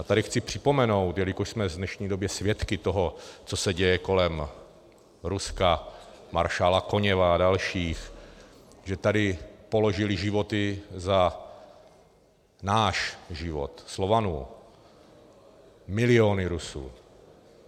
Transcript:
A tady chci připomenout, jelikož jsme v dnešní době svědky toho, co se děje kolem Ruska, maršála Koněva a dalších, že tady položili životy za náš život, Slovanů, miliony Rusů.